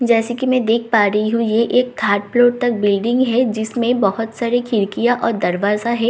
जैसा की मैं देख पा रही हूँ यह एक थड़ फ्लोर तक बिल्डिंग है जिसमे बहुत सारे खिड़कियां ओर दरवाजा है नीचे के --